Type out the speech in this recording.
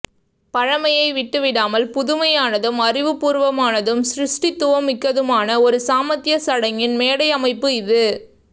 பழ்மையை விட்டு விடாமல் புதுமையானதும் அறிவு பூர்வமானதும் சிருஸ்டித்துவம் மிக்கதுமான ஒரு சாமத்தியச் சடங்கின் மேடை அமைப்பு இது